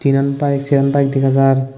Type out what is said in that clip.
tinen bike seran bike dega jar.